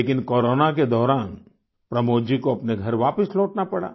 लेकिन कोरोना के दौरान प्रमोद जी को अपने घर वापस लौटना पड़ा